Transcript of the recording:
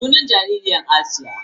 Sunan jaririyar Asiya.